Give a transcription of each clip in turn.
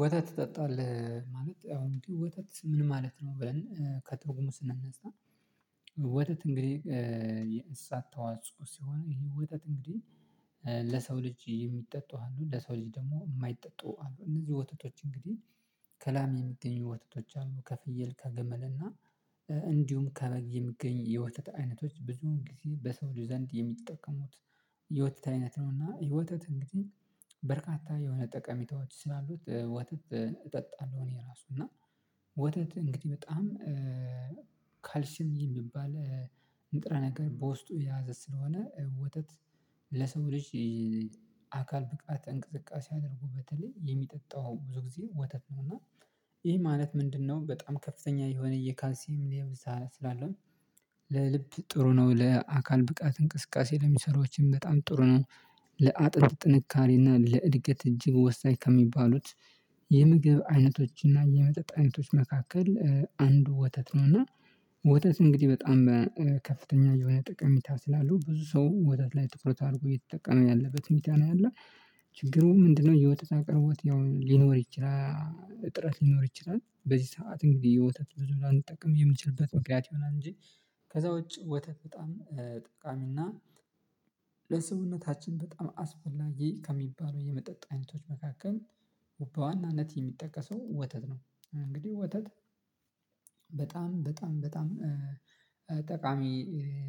ወተት ትጠጣለህ ማለት አሁን ወተት ምን ማለት ነው? ብለን ከትርጉሙ ስንነሳ ወተት እንግዲህ የእንስሳት ተዋጽኦ ሲሆን ይሄ ወተት እንግዲህ ለሰው ልጅ የሚጠጡ አሉ ለሰው ልጅ ደግሞ የማይጠጡ አሉ እነዚህ ወተቶች እንግዲህ ከላም የሚገኙ ወተቶች አሉ ከፍየል ከገመል እና እንዲሁም ከበግ የሚገኙ የወተት አይነቶች ብዙ ጊዜ በሰው ደርዝ ዘንድ የሚጠቀሙት የወተት አይነት ነው። እና የወተት እንግዲህ በርካታ የሆነ ጠቀሚታዎች ስላሉት ወተት እጠጣለሁ። እኔ ራሱ እና ወተት እንግዲህ በጣም ካልሲም የሚባል ንጥረ ነገር በውስጡ የያዘ ስለሆነ ወተት ለሰው ልጅ አካል ብቃት እንቅስቃሴ አድርጎ በተለይ የሚጠጣው ብዙ ጊዜ ወተት ነው እና ይሄ ማለት ምንድነው በጣም ከፍተኛ የሆነ የካልሲም ብዛት ስላለው ለልብ ጥሩ ነው። ለአካል ብቃት እንቅስቃሴ ለሚሰሩዎችም በጣም ጥሩ ነው። ለአጥንት ጥንካሬ እና ለእድገት እጅግ ወሳኝ ከሚባሉት የምግብ አይነቶችና የመጠጥ አይነቶች መካከል አንዱ ወተት ነውና። ወተት እንግዲህ በጣም በከፍተኛ የሆነ ጠቀሜታ ስላሉ ብዙ ሰው ወተት ላይ ጥኩረት አድርጎ እየተጠቀመ ያለበት ሁኔታ ነው ያለው ችግሩ ምንድነው? የወተት አቅርቦት ያው ሊኖር ይችላል። ጥረት ሊኖር ይችላል። በዚህ ሰዓት እንግዲህ የወተት የማንጠቀምበ የምንችልበት ምክንያት ይሆናል። እንጂ ከዛ ውጪ ወተት በጣም ጠቃሚና ለሰውነታችን በጣም አስፈላጊ ከሚባሉ የመጠጥ አይነቶች መካከል በዋነኝነት የሚጠቀሰው ወተት። ነው እንግዲህ ወተት በጣም በጣም በጣም ጠቃሚ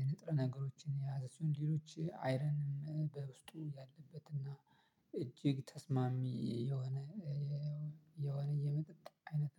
ንጥረ ነገሮችን የያዘ ሲሆን ሌሎች አይረንም በውስጡ ያለበትና እጅግ ተስማሚ የሆነ የሆነ የመጠጥ አይነት